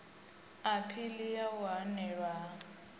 aphili ya u hanelwa ha